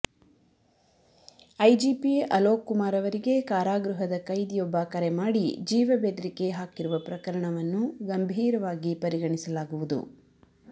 IGP Alok Kumar ಅವರಿಗೆ ಕಾರಾಗೃಹದ ಕೈದಿಯೊಬ್ಬ ಕರೆ ಮಾಡಿ ಜೀವ ಬೆದರಿಕೆ ಹಾಕಿರುವ ಪ್ರಕರಣವನ್ನು ಗಂಭೀರವಾಗಿ ಪರಿಗಣಿಸಲಾಗುವುದು